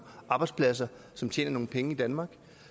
arbejdspladser som tjener nogle penge i danmark